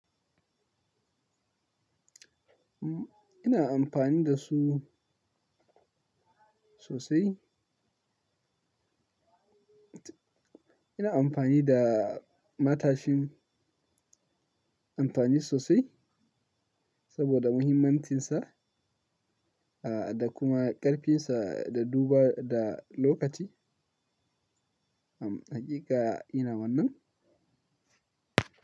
Ina amfani da su sosai. Ina amfani da matashin amfani sosai saboda muhimmancinsa, ah, da kuma ƙarfinsa da dubawa da lokaci. Hm, hakika ina wannan.